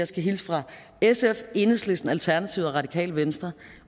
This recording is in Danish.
skal hilse fra sf enhedslisten alternativet og det radikale venstre